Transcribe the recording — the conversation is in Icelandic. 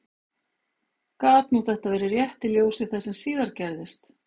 Gat nú þetta verið rétt í ljósi þess sem síðar gerðist?